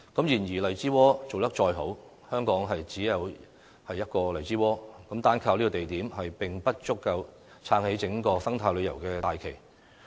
然而，荔枝窩做得再好，香港亦只得一個荔枝窩，單靠這個地點，並不足以撐起整個生態旅遊的大旗。